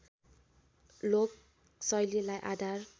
लोक शैलीलाई आधार